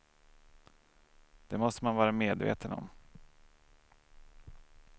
Det måste man vara medveten om.